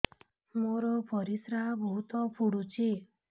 ମୋର ପରିସ୍ରା ବହୁତ ପୁଡୁଚି